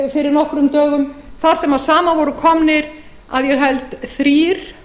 fyrir nokkrum dögum þar sem saman voru komnir að ég held þrír